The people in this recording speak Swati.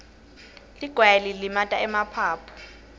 ligwayi lilimata emaphaphu